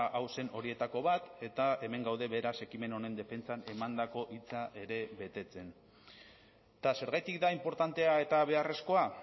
hau zen horietako bat eta hemen gaude beraz ekimen honen defentsan emandako hitza ere betetzen eta zergatik da inportantea eta beharrezkoa